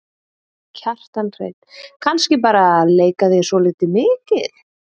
Kjartan Hreinn: Kannski bara leika þér svolítið mikið?